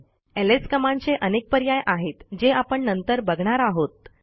LS कमांडचे अनेक पर्याय आहेत जे आपण नंतर बघणार आहोत